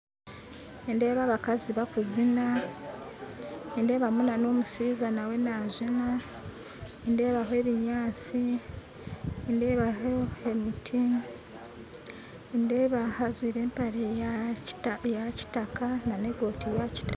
Nindeeba abakazi bakuzina nindeebamu nomushaija nawe nazina, nindebaho ebinyantsi, nindebaho emiti nindeeba ajwire embare yakitaka nana ekooti yakitaaka